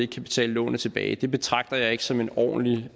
kan betale lånet tilbage betragter jeg ikke som en ordentlig